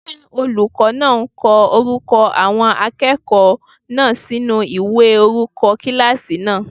Ṣé olùkọ́ náà ń ko orúkọ àwọn akẹ́kọ̀ọ́ náà sinú ìwé orúkọ kílásì náà?